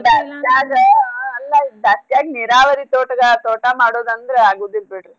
ಅಲ್ಲ ಬ್ಯಾಸ್ಗ್ಯಾಗ್ ನೀರಾವರಿ ತೋಟಗಾ~ ತೋಟಮಾಡೋದಂದ್ರ ಆಗುದಿಲ್ಲ್ ಬಿಡ್ರಿ.